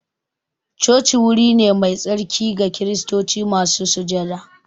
Coci wuri ne mai tsarki ga kiristoci masu sujada